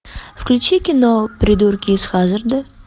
включи кино придурки из хаззарда